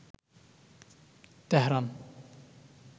Tehran